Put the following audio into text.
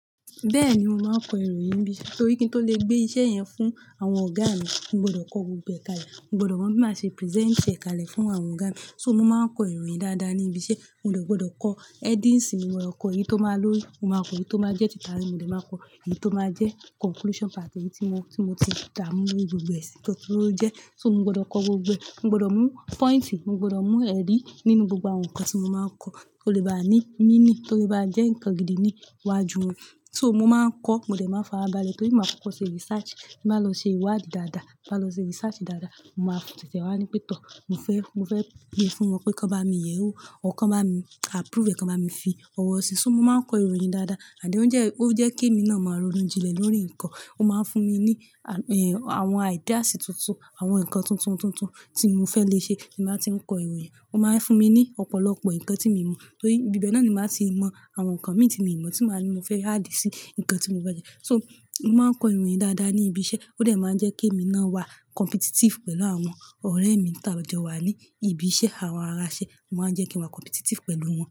Bẹ́ẹ̀ni, mo máa ń kọ ìròyìn níbi, torí kí n tó lè gbé iṣẹ́ yẹn fún àwọn ọ̀gá mi, mo gbọdọ̀ kọ gbogbo ẹ̀ kàlẹ̀, mo gbọdọ̀ mọ bí màá ṣe present ẹ̀ kàlẹ̀ fún àwọn ọ̀gá mi. So mo máa ń kọ ìròyìn dáadáa ní ibi iṣẹ́. Mo dẹ̀ gbọdọ̀ kọ headings, mo gbodo kọ èyí tó máa lọ́rí, mo máa kọ èyí tó máa jẹ́ ti taarin, mo dẹ̀ máa kọ èyí tó máa jẹ́ conclusion part, èyí tí mo, tí mo ti dààmú lori gbogbo ẹ̀ sìn tó ko le jẹ́. So mo gbọdọ̀ kọ gbogbo ẹ̀, mo gbọdọ̀ mú point, mo gbọdọ̀ mú eri nínú gbogbo àwọn nǹkan tí mo máa ń kọ, kó lè bá ní meaning, kó lè bá jẹ́ nǹkan gidi ní iwájú wọn. So mo máa ń kọ, mo dẹ̀ máa ń fara balẹ̀ torí mo máa kókó ṣe research, màá lọ ṣe ìwádìí dáadáa, màá lọ ṣe research dáadáa, mo máa fi ontè tè wá ní pẹ̀tọ́. Mo fẹ́, mo fẹ́ gbé fún wọn pé kí wọ́n bá mi yẹ̀ ó, or kan bá mi approve ẹ̀, kan bá mi fi ọwọ́ sí, so mo máa ń kọ ìròyìn dáadáa. Then ó ń jẹ́, ó ń jẹ́ kí èmi náà máa ronú jinlẹ̀ lórí nǹkan, ó máa ń fún mi ní, àwọn ideas tuntun, àwọn nǹkan tuntun tuntun tí mo fẹ́ lè ṣe bí n bà ti ń kọ ìròyìn. Ó máa ń fún mi ní ọ̀pọ̀lọpọ̀ nǹkan tí mi n mọ̀ torí ibi bẹ́ẹ̀ náà ni màá ti mọ àwọn nǹkan mi tí mi n mọ̀ tí màá ní mo fẹ́ add sí nǹkan tí mo fe jẹ́. So mo máa ń kọ ìròyìn dáadáa ní ibi iṣẹ́, ó dẹ̀ máa ń jẹ́ kí èmi náà wà competitive pẹ̀lú àwọn ọ̀rẹ́ mi tá jọ wà ní ibi iṣẹ́, àwọn ará iṣẹ́, ó máa ń jẹ́ kí n wà competitive pẹ̀lú wọn.